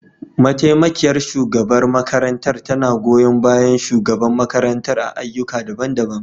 Mataimakiyar shugabar makarantar tana goyon bayan shugaban makarantar a ayyuka daban-daban.